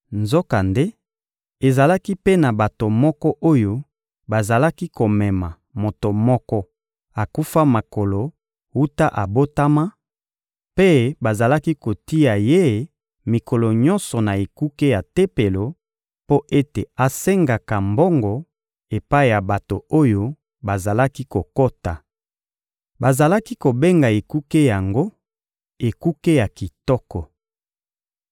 Nzokande, ezalaki mpe na bato moko oyo bazalaki komema moto moko akufa makolo wuta abotama, mpe bazalaki kotia ye mikolo nyonso na ekuke ya Tempelo mpo ete asengaka mbongo epai ya bato oyo bazalaki kokota. Bazalaki kobenga ekuke yango «Ekuke ya kitoko.»